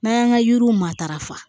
N'an y'an ka yiriw matarafa